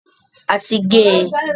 A ti gé e.